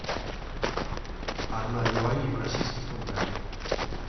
одна юаня в российских рублях